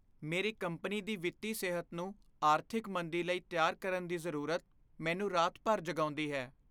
ਮੇਰੀ ਕੰਪਨੀ ਦੀ ਵਿੱਤੀ ਸਿਹਤ ਨੂੰ ਆਰਥਿਕ ਮੰਦੀ ਲਈ ਤਿਆਰ ਕਰਨ ਦੀ ਜ਼ਰੂਰਤ ਮੈਨੂੰ ਰਾਤ ਭਰ ਜਗਾਉਂਦੀ ਹੈ।